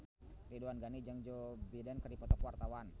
Ridwan Ghani jeung Joe Biden keur dipoto ku wartawan